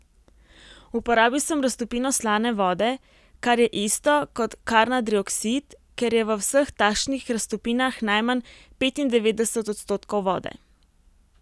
Uporabil sem raztopino slane vode, kar je isto kot karnadrioksid, ker je v vseh takšnih raztopinah najmanj petindevetdeset odstotkov vode.